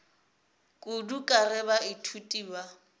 kudu ka ge baithuti ba